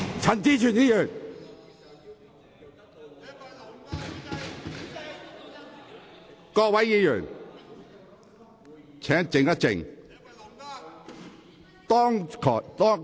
請各位議員肅靜。